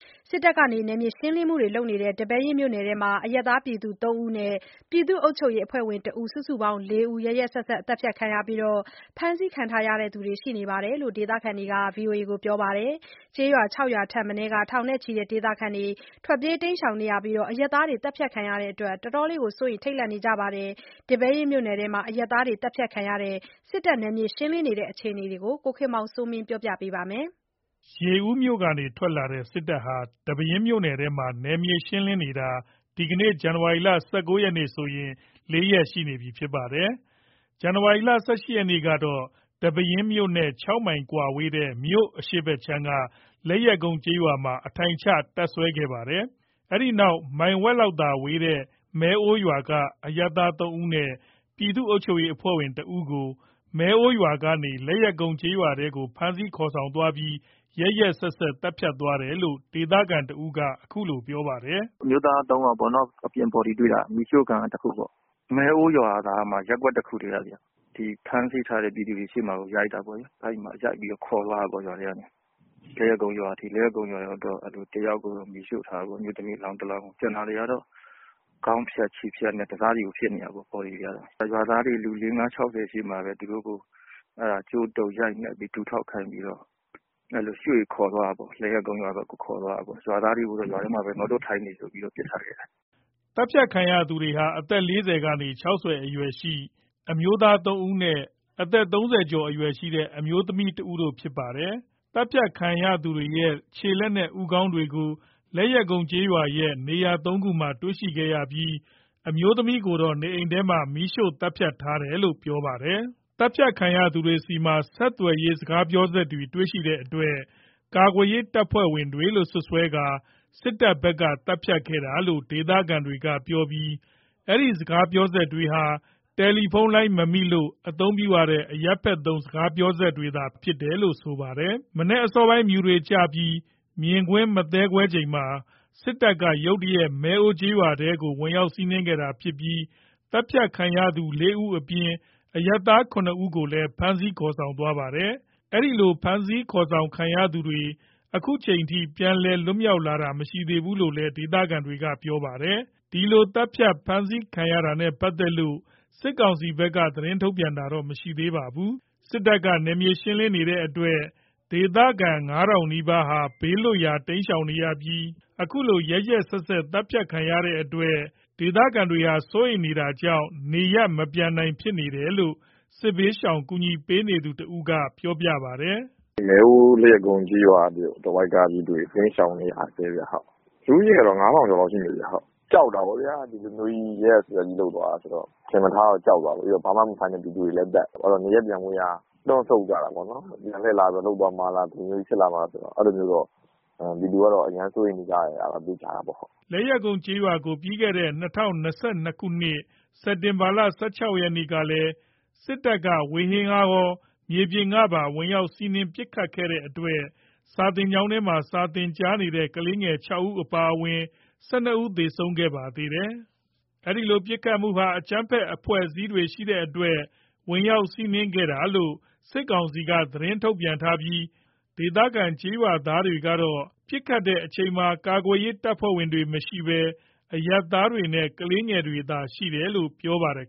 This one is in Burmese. စစ်တပ်က နယ်မြေရှင်းလင်းနေတဲ့ ဒီပဲယင်းမြို့နယ်ထဲမှာ အရပ်သား ၃ ဦးနဲ့ ပြည်သူ့အုပ်ချုပ်ရေးအဖွဲ့ဝင် တဦး စုစုပေါင်း ၄ ဦးကို ရက်ရက်စက်စက် သတ်ဖြတ်သွားပြီး ဖမ်းဆီးခံရသူတွေလည်းရှိတယ်လို့ ဒေသခံတွေက ပြောပါတယ်။ ကျေးရွာ ၆ ရွာထက်မနည်းက ထောင်နဲ့ချီတဲ့ ဒေသခံတွေ ထွက်ပြေး တိမ်းရှောင်နေရပြီး အရပ်သားတွေ သတ်ဖြတ်ခံရတဲ့အတွက်လည်း စိုးရိမ်ထိတ်လန့်နေပါတယ်။ ဒီပဲယင်းမြို့နယ်ထဲက အရပ်သားတွေ သတ်ဖြတ်ခံရပြီး စစ်တပ် နယ်မြေရှင်းလင်း နေတဲ့ အခြေအနေတွေကို ကိုခင်မောင်စိုးမင်း က ပြောပြပါမယ်။ ရေဦးမြို့ကနေ ထွက်လာတဲ့ စစ်တပ်ဟာ ဒီပဲယင်းမြို့နယ်ထဲမှာ နယ်မြေရှင်းလင်းနေတာ ဒီကနေ့ ဇန်နဝါရီ ၁၉ ရက်ဆိုရင် ၄ ရက်ရှိနေပါပြီ။ ဇန်နဝါရီ ၁၈ ရက်မှာတော့ ဒီပဲယင်းမြို့နဲ့ ၆ မိုင်ကွာဝေးတဲ့ မြို့အရှေ့ခြမ်းက လက်ယက်ကုန်းကျေးရွာမှာ အထိုင်ချတပ်စွဲခဲ့တာပါ။ အဲဒီနောက် မိုင်ဝက်လောက်သာဝေးတဲ့ မဲအိုးရွာက အရပ်သား ၃ ဦးနဲ့ ပြည်သူ့အုပ်ချုပ်ရေး အဖွဲ့ဝင် ၁ ဦးကို မဲအိုးရွာကနေ လက်ယက်ကုန်းကျေးရွာထဲကို ဖမ်းဆီးခေါ်ဆောင်သွားပြီး ရက်ရက်စက်စက် သတ်ဖြတ်သွားတယ်လို့ ဒေသခံတဦးက အခုလို ပြောပြပါတယ်။ “အမျိုးသား ၃ ယောက်ပေါ့နော်။ အပြင်ဘော်ဒီတွေ့တာက မီးရှို့ခံရတာ တခုပေါ့။ မဲအိုးရွာသားမှ ရပ်ကွက် တခုတည်းကခင်ဗျ။ ဖမ်းဆီးထားတဲ့ ပြည်သူတွေရှေ့မှာပဲရိုက်တာပေါ့လေ။ အဲ့မှာရိုက်ပြီးတော့ ခေါ်သွားတာပေါ့လေ။ လက်ယက်ကုန်းရွာအထိ လက်ယက်ကုန်းရွာရောက်တော့ တယောက်ကိုတော့ မီးရှို့ထားတာပေါ့။ အမျိုးသမီး အလောင်းတလောင်းကို ကျန်တာတွေကတော့ ခေါင်းဖြတ်ခြေဖြတ်နဲ့ တစစီကို ဖြစ်နေတာပေါ့။ ဘော်ဒီတွေကတော့။ ရွာသားတွေ လူ ၄-၅-၆၀ ရှေ့မှာပဲ ကြိုးတုပ် ရိုက်နှက်ပြီးတော့ ခေါ်သွားတာပေါ့။ ရွာသားတွေကိုတော့ ရွာထဲမှာပဲ ငုတ်တုပ် ထိုင်နေဆိုပြီး ပစ်ထားခဲ့တာ။” သတ်ဖြတ်ခံရသူတွေဟာ အသက် ၄၀ ကနေ ၆၀ အရွယ်ရှိ အမျိုးသား ၃ ဦးနဲ့ အသက် ၃၀ ကျော်အရွယ်ရှိတဲ့ အမျိုးသမီး တဦးတို့ဖြစ်ပါတယ်။ သတ်ဖြတ်ခံရသူတွေရဲ့ ခြေလက်နဲ့ ဦးခေါင်းတွေကို လက်ယက်ကုန်းရွာရဲ့ နေရာ ၃ နေရာမှာ တွေ့ရှိခဲ့ရပြီး အမျိုးသမီးကိုတော့ နေအိမ်ထဲမှာ မီးရှို့သတ်ဖြတ်ထားခဲ့တာလို့လည်း ပြောပါတယ်။ သတ်ဖြတ်ခံရသူတွေဆီမှာ ဆက်သွယ်ရေး စကားပြောစက်တွေ တွေ့ရှိတဲ့အတွက် ကာကွယ်ရေး တပ်ဖွဲ့ဝင်တွေလို့ စွပ်စွဲကာ စစ်တပ်ဘက်က သတ်ဖြတ်ခဲ့တာလို့ ဒေသခံတွေက ပြောပြီး အဲ့ဒီစကားပြောစက်တွေဟာ တယ်လီဖုန်းလိုင်း မမိလို့ အသုံးပြုရတဲ့ အရပ်ဖက်သုံးစကားပြောစက်တွေသာ ဖြစ်တယ်လို့ ဆိုပါတယ်။ မနက်အစောပိုင်း မြူတွေ ကျပြီး မြင်ကွင်း မသဲကွဲချိန်မှာ စစ်တပ်က ရုတ်တရက် မဲအိုးကျေးရွာကို ဝင်ရောက်စီးနင်းခဲ့တာဖြစ်ပြီး သတ်ဖြတ်ခံရသူ ၄ ဦးအပြင် အရပ်သား ၇ ယောက်ကိုလည်း ဖမ်းဆီးသွားတာပါ။ အဲဒီဖမ်းဆီးခေါ်ဆောင်သွားသူတွေ အခုချိန်ထိ ပြန်လည် လွတ်မြောက်လာတာ မရှိသေးဘူးလို့လည်း ဒေသခံတွေက ပြောပါတယ်။ ဒီလိုသတ်ဖြတ်ဖမ်းဆီးခံရတာနဲ့ပတ်သက်လို့ စစ်ကောင်စီဘက်က သတင်းထုတ်ပြန်တာ မရှိသေးပါဘူး။ စစ်တပ်က နယ်မြေရှင်းလင်းနေတဲ့အတွက် ဒေသခံ ၅ ထောင်နီးပါးဟာ ဘေးလွတ်ရာတိမ်းရှောင်နေရပြီး အခုလို ရက်ရက်စက်စက် သတ်ဖြတ်ခံရတဲ့အတွက် ဒေသခံတွေဟာ စိုးရိမ်နေတာကြောင့် နေရပ်မပြန်နိုင် ဖြစ်နေတယ်လို့ စစ်ဘေးရှောင် ကူညီပေးနေသူတဦးက အခုလို ပြောပြပါတယ်။ “မဲအိုး လက်ယက်ကုန်းကျေးရွာတဝိုက်က ပြည်သူတွေ တိမ်းရှောင်နေကြတယ်။ လူဦးရေက ၅ ထောင်ကျော်လောက်ရှိမယ်။ ကြောက်တာပေါ့ဗျာ ဒီလိုကြီး ရက်ရက်စက်စက် လုပ်သွားတာဆိုတော့ ထင်မထားတော့ ကြောက်သွားတာပေါ့။ ပြီးတော့ ဘာမဆိုင် ပြည်သူတွေပါသတ်တော့ နေရပ်ပြန်ဖို့ရာ တွန့်ဆုတ်ကြတာပေါ့။ ပြန်လှည့်လာပြီး လုပ်သွားမှာလား ဒီလိုကြီး ဖြစ်သွားမှာလား အဲ့လိုတော့ ပြည်သူတွေက အရမ်းစိုးရိမ်နေကြတယ်။” လက်ယက်ကုန်းကျေးရွာကို ၂၀၂၂ ခုနှစ် စက်တင်ဘာ ၁၆ ရက်ကလည်း စစ်တပ်က ဝေဟင်ကကော မြေပြင်ကပါ ဝင်ရောက်စီးနင်းပစ်ခတ်ခဲ့တဲ့အတွက် စာသင်ကျောင်းထဲမှာ စာသင်ကြားနေတဲ့ ကလေးငယ် ၆ ဦးအပါအဝင် ၁၂ ဦး သေဆုံးခဲ့ပါသေးတယ်။ ပစ်ခတ်တာနဲ့ ပတ်သက်လို့ စစ်တပ်ဘက်က အကြမ်းဖက်အဖွဲ့အစည်းတွေ ရှိတဲ့အတွက် ဝင်ရောက်စီးနင်းတာလို့ သတင်းထုတ်ပြန်ထားပြီး ဒေသခံကျေးရွာသားတွေကတော့ ပစ်ခတ်ချိန်မှာ ကာကွယ်ရေး တပ်ဖွဲ့တွေ မရှိဘဲ အရပ်သားတွေနဲ့ ကလေးငယ်တွေသာ ရှိတယ်လို့ ပြောပါတယ်